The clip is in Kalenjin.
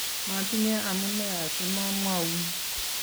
matinye amune asimamwoun